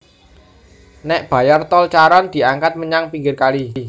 Nék bayar tol Charon diangkat menyang pinggir kali